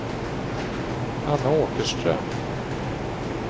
Ann Åkerström